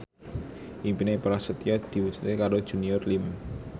impine Prasetyo diwujudke karo Junior Liem